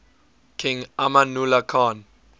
king amanullah khan